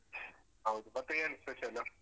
ಹೌದು ಮತ್ತೆ ಏನ್ special?